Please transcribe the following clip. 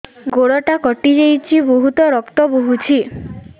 ଗୋଡ଼ଟା କଟି ଯାଇଛି ବହୁତ ରକ୍ତ ବହୁଛି